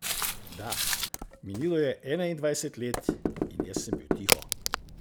Da, minilo je enaindvajset let in jaz sem bil tiho.